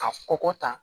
Ka kɔkɔ tan